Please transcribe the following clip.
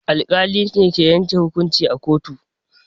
Alƙali ne ke yanke hukunci a kotu.